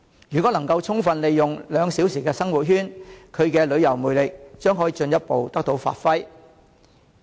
如果能夠充分利用"兩小時生活圈"，其旅遊魅力將可以進一步得到發揮。